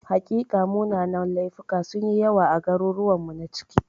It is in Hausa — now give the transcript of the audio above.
Hakika, munanan laifuka sun yi yawa a garuruwanmu na ciki.